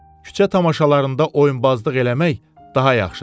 Küçə tamaşalarında oyunbazlıq eləmək daha yaxşıdır.